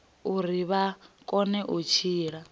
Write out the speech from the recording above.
uri vha kone u tshila